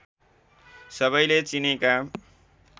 सबैले चिनेका